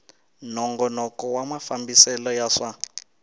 nongonoko wa mafambisele ya swa